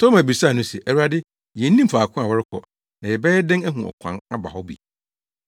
Toma bisaa no se, “Awurade yennim faako a worekɔ na yɛbɛyɛ dɛn ahu ɔkwan aba hɔ bi?”